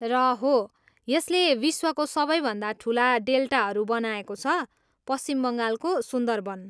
र हो, यसले विश्वको सबैभन्दा ठुला डेल्टारू बनाएको छ, पश्चिम बङ्गालको सुन्दरवन।